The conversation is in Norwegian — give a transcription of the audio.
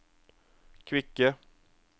kvikke